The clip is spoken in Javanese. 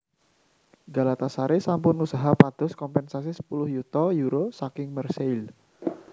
Galatasaray sampun usaha pados kompénsasi sepuluh yuta euro saking Marseille